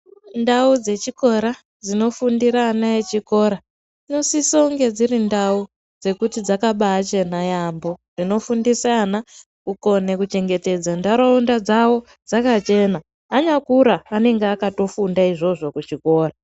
Ndau dzechikora dzinofundira ana echikora dzinosisonge dziri ndau dzekuti dzakabachena yaambo. Dzinofundiswa ana kukone kuchengetedza ndaraunda dzavo dzakachena anyakura anenge akatofunda izvozvo kuzvikora.